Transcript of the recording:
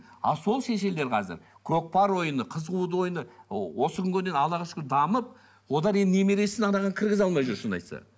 ал сол шешелер қазір көкпар ойыны қыз қууды ойыны осы күнге дейін аллаға шүкір дамып олар енді немересін анаған кіргізе алмай жүр шынын айтса